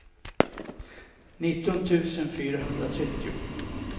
nitton tusen fyrahundratrettio